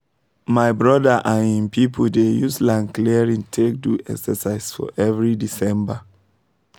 my brother and him people dey use land clearing take do exercise for every december